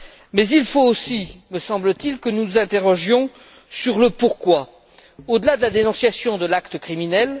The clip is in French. Mais il faut aussi me semble t il que nous nous interrogions sur le pourquoi, au delà de la dénonciation de l'acte criminel.